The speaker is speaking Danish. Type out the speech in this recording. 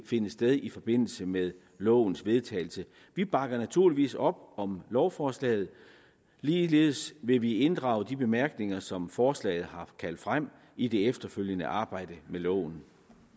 finde sted i forbindelse med lovens vedtagelse vi bakker naturligvis op om lovforslaget ligeledes vil vi inddrage de bemærkninger som forslaget har kaldt frem i det efterfølgende arbejde med loven